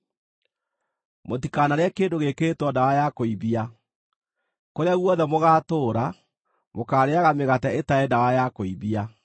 Mũtikanarĩe kĩndũ gĩĩkĩrĩtwo ndawa ya kũimbia. Kũrĩa guothe mũgaatũũra, mũkaarĩĩaga mĩgate ĩtarĩ ndawa ya kũimbia.”